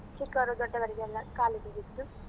ಹಂಚ್ತೇವೆ ಚಿಕ್ಕವರು ದೊಡ್ಡವರಿಗೆಲ್ಲ ಕಾಲಿಗೆ ಬಿದ್ದು.